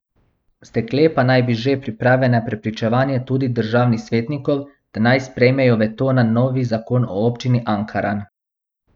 Stekle pa naj bi že priprave na prepričevanje tudi državni svetnikov, da naj sprejmejo veto na novi zakon o občini Ankaran.